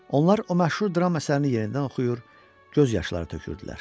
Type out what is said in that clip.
Onlar o məşhur dram əsərini yenidən oxuyur, göz yaşları tökürdülər.